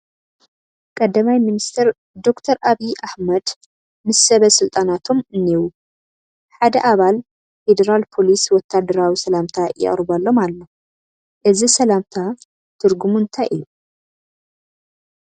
ቀዳማይ ሚኒስተር ዶክተር ዓብዪ ኣሕመድ ምስ ሰበ ስልጣናቶም እኔዉ፡፡ ሓደ ኣባል ፌደራል ፖሊስ ወታደራዊ ሰላምታ የቕርበሎም ኣሎ፡፡ እዚ ሰላምታ ትርጉሙ እንታይ እዩ?